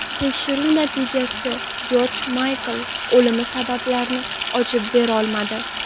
Tekshiruv natijalari Jorj Maykl o‘limi sabablarini ochib berolmadi.